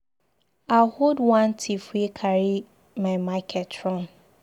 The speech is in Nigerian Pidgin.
I hold wan thief wey wan carry my market run.